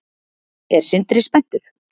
Er Sindri spenntur?